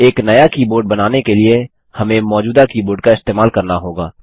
एक नया कीबोर्ड बनाने के लिए हमें मौजूदा कीबोर्ड का इस्तेमाल करना होगा